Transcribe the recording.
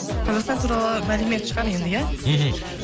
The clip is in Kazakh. қазақстан туралы мәлімет шығар енді иә мхм